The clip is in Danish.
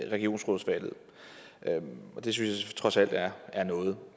regionsrådsvalget og det synes jeg trods alt er er noget